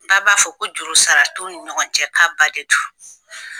b'a fɔ ko jurusara t'u ni ɲɔgɔn cɛ k'a ba de do.